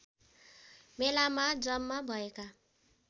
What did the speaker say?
मेलामा जम्मा भएका